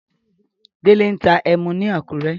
Délé ń ta ẹmu ni Àkúrẹ́.